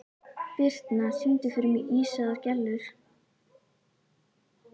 Birtna, syngdu fyrir mig „Ísaðar Gellur“.